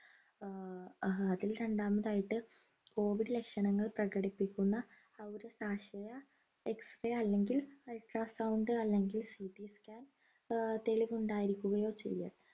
ആഹ് അതിൽ രണ്ടാമതായിട്ട് COVID ലക്ഷണങ്ങൾ പ്രകടിപ്പിക്കുന്ന അല്ലെങ്കിൽ ultra sound അല്ലെങ്കിൽ CTscan ഏർ തെളിവ് ഉണ്ടായിരിക്കുകയോ ചെയ്യൽ